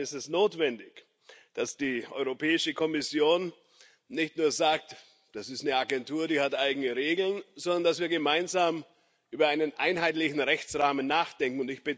Insofern ist es notwendig, dass die Europäische Kommission nicht nur sagt Das ist eine Agentur, die hat eigene Regeln, sondern dass wir gemeinsam über einen einheitlichen Rechtsrahmen nachdenken.